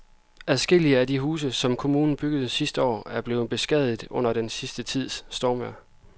Adskillige af de huse, som kommunen byggede sidste år, er blevet beskadiget under den sidste tids stormvejr.